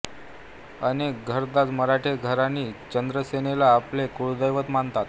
अनेक घरंदाज मराठे घराणी चंद्रसेनाला आपले कुळदैवत मानतात